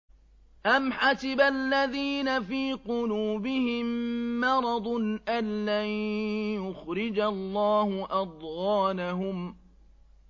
أَمْ حَسِبَ الَّذِينَ فِي قُلُوبِهِم مَّرَضٌ أَن لَّن يُخْرِجَ اللَّهُ أَضْغَانَهُمْ